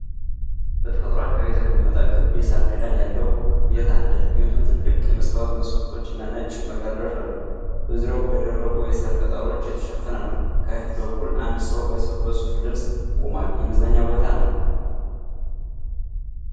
በተፈጥሮ አካባቢ የተቀመጠ ክብ የሳር ክዳን ያለው ቤት አለ። ቤቱ ትልቅ የመስታወት መስኮቶችና ነጭ መጋረጃዎች አሉት። በዙሪያው በደረቁ የሳር ቅጠሎች የተሸፈነ ነው። ከፊት በኩል አንድ ሰው በሱፍ ልብስ ቆሟል። የመዝናኛ ቦታ ነው።